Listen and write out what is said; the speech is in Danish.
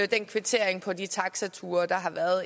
den kvittering på de taxature der